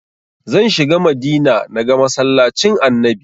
Zan shiga Madina na ga masallacin annabi